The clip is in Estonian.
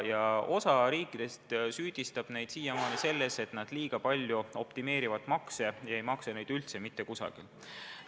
Osa riike süüdistab neid siiamaani selles, et nad makse liiga palju optimeerivad ega maksa neid üldse mitte kusagil.